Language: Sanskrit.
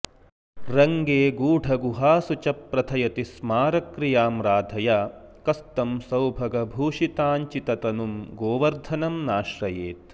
रङ्गे गूढगुहासु च प्रथयति स्मारक्रियां राधया कस्तं सौभगभूषिताञ्चिततनुं गोवर्धनं नाश्रयेत्